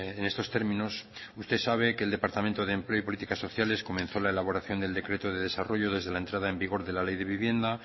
en estos términos usted sabe que el departamento de empleo y políticas sociales comenzó la elaboración del decreto de desarrollo desde la entrada en vigor de la ley de vivienda